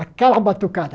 Aquela batucada.